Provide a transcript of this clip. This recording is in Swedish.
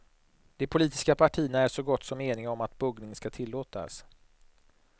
De politiska partierna är så gott som eniga om att buggning ska tillåtas.